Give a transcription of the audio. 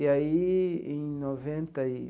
E aí, em noventa e.